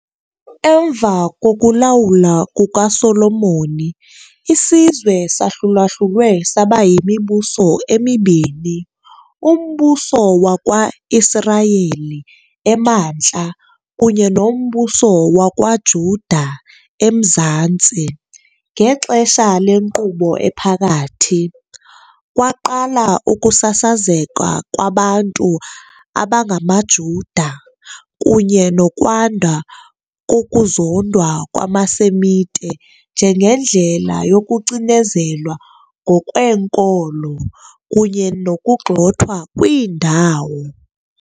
Emva kokulawula kukaSolomoni, isizwe sahlulahlulwe saba yimibuso emibini - uMbuso wakwa-Israyeli, emantla, kunye noMbuso wakwaJuda, emzantsi. Ngexesha leNkqubo Ephakathi, kwaqala ukusasazeka kwabantu abangamaJuda, kunye nokwanda kokuzondwa kwamaSemite njengendlela yokucinezelwa ngokweenkolo kunye nokugxothwa kwiindawo.